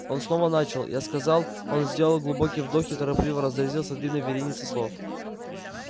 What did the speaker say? он снова начал я сказал он сделал глубокий вдох и торопливо разразился длинной вереницей слов